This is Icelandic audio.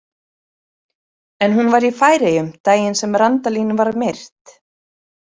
En hún var í Færeyjum daginn sem Randalín var myrt?